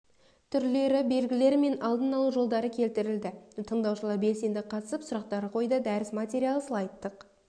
түрлері белгілері мен алдын алу жолдары келтірілді тыңдаушылар белсенді қатысып сұрақтар қойды дәріс материалы слайдтық